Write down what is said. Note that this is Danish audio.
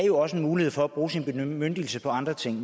jo også er mulighed for at bruge sin bemyndigelse på andre ting